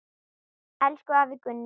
Elsku afi Gunni.